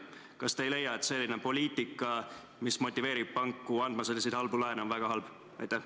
Kas te ei leia, et selline poliitika, mis motiveerib panku andma selliseid halbu laene, on väga halb?